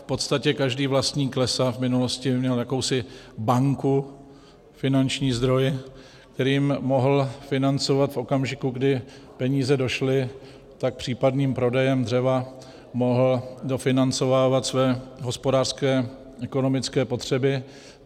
V podstatě každý vlastník lesa v minulosti měl jakousi banku, finanční zdroj, kterým mohl financovat v okamžiku, kdy peníze došly, tak případným prodejem dřeva mohl dofinancovávat své hospodářské ekonomické potřeby.